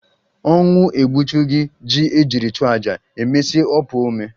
Ọnwụ egbuchughi ji ejiri chụọ aja, emesie o puo ome